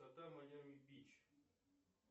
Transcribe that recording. майами бич